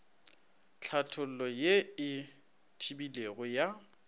tlhathollo ye e tebilego ya